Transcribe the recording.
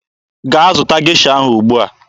Gaa zụta Gesha ahụ ugbua!